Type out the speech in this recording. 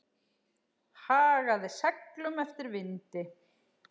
Hagaði seglum eftir vindi.